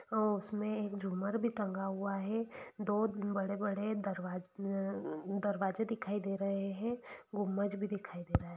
अ उसमे एक झूमर भी टंगा हुआ है दो बड़े-बड़े दरवाजे दरवाजे दिखाई दे रहे है गुम्बज़ भी दिखाई दे रहा है।